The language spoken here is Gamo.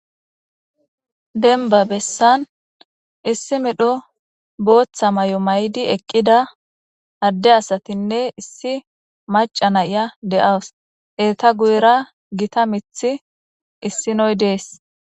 Demba bessan issi medho boththa mayo mayidi eqqida adde asatine issi maca naya de'awusu.eta guyera gita mithi issinoyi dees.